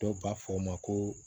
Dɔw b'a fɔ o ma ko